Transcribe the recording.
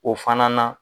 O fana na